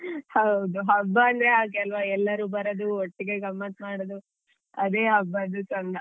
ಹೌದು ಹಬ್ಬ ಅಂದ್ರೆ ಹಾಗೆ ಅಲ್ವ ಎಲ್ಲರೂ ಬರೋದು ಒಟ್ಟಿಗೆ ಗಮ್ಮತ್ ಮಾಡೋದು ಅದೇ ಹಬ್ಬದು ಚಂದ .